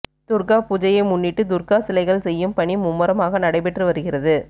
துர்கா பூஜையை முன்னிட்டு துர்கா சிலைகள் செய்யும் பணி மும்மரமாக நடைபெற்று வருகிறது